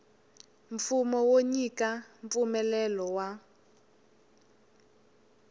mfumo wo nyika mpfumelelo wa